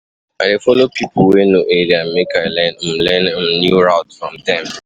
I dey folo pipo wey know area, make I learn um learn um new routes from dem.